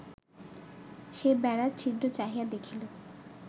সে বেড়ার ছিদ্র চাহিয়া দেখিল